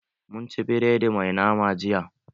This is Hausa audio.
Mun ci biredi mai nama jiya.